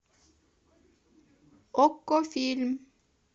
окко фильм